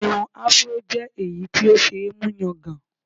Irun Afro jẹ́ èyí tí ó ṣe é mú yangàn